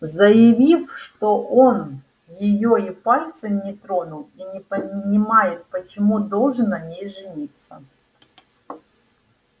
заявил что он её и пальцем не тронул и не понимает почему должен на ней жениться